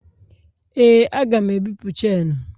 Ee, a ga m ebipụ chenu.